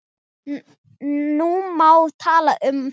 Nú má tala um þá.